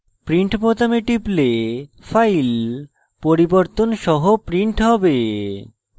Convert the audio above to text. print বোতামে টিপলে file পরিবর্তন সহ print হবে